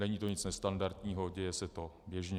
Není to nic nestandardního, děje se to běžně.